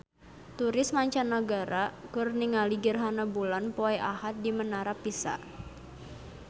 Turis mancanagara keur ningali gerhana bulan poe Ahad di Menara Pisa